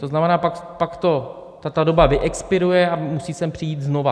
To znamená, pak ta doba vyexpiruje a musí sem přijít znovu.